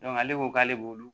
ale ko k'ale b'olu